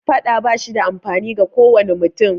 Faɗa ba shi da amfani ga kowane mutum